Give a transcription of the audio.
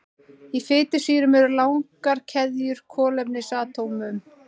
Í fitusýrunum eru langar keðjur kolefnisatómum.